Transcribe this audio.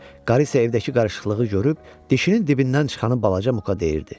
Qarı isə evdəki qarışıqlığı görüb dişinin dibindən çıxanı balaca Muka deyirdi.